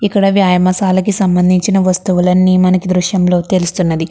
ఇక్కడ వ్యాయామశాల కి సంభందించిన వస్తులులన్ని మనకి దృశ్యం లో తెలుసుతున్నది.